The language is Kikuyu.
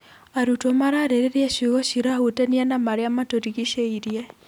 Arutwo mararĩrĩria ciongo cirahutania na marĩa matũrigicĩirie.